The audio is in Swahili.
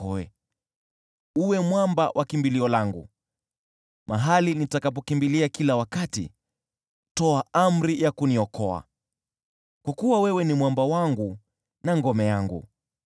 Uwe kwangu mwamba wa kimbilio, mahali nitakapokimbilia kila wakati; toa amri ya kuniokoa, kwa kuwa wewe ni mwamba wangu na ngome yangu.